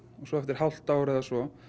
svo eftir hálft ár eða svo